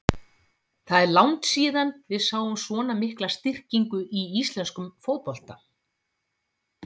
Það er langt síðan við sáum svona mikla styrkingu í íslenskum fótbolta.